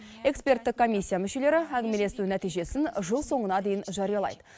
эксперттік комиссия мүшелері әңгімелесу нәтижесін жыл соңына дейін жариялайды